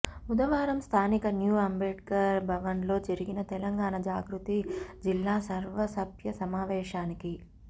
బుధవారం స్థానిక న్యూ అంబేడ్కర్ భవన్లో జరిగిన తెలంగాణ జాగృతి జిల్లా సర్వసభ్య సమావేశానికి